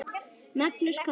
Magnús kom heim.